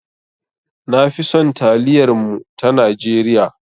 Na fi son taliyar mu ta Najeriya.